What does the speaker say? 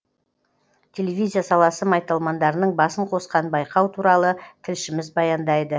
телевизия саласы майталмандарының басын қосқан байқау туралы тілшіміз баяндайды